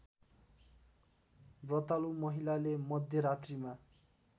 व्रतालु महिलाले मध्यरात्रिमा